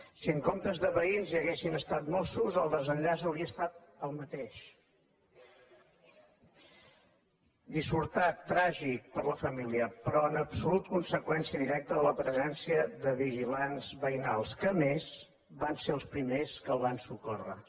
si en comptes de veïns haguessin estat mossos el desenllaç hauria estat el mateix dissortat tràgic per a la família però en absolut conseqüència directa de la presència de vigilants veïnals que a més van ser els primers que el van socórrer